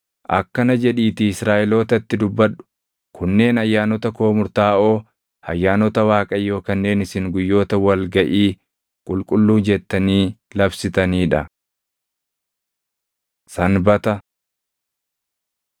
“Akkana jedhiitii Israaʼelootatti dubbadhu; ‘Kunneen ayyaanota koo murtaaʼoo, ayyaanota Waaqayyoo kanneen isin guyyoota wal gaʼii qulqulluu jettanii labsitanii dha. Sanbata